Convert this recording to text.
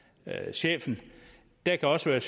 chefen der kan også